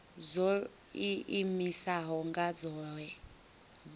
dzo iimisaho nga dzohe vhu